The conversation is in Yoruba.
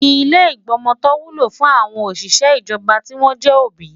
Ilé ìgbọmọtọ́ wúlò fún àwọn òṣìṣẹ́ ijoba tí wọ́n jẹ́ òbí.